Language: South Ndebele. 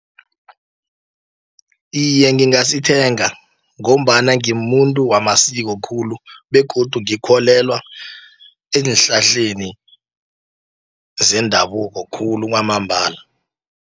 Iye, ngingasithenga, ngombana ngimuntu wamasiko khulu, begodu ngikholelwa ezinhlahleni, zendabuko khulu kwamambala.